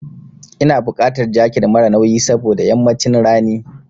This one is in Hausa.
Ina buƙatar jaket mara nauyi saboda yammacin rani.